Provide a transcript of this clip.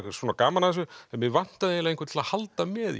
gaman af þessu en mig vantaði einhvern til að halda með í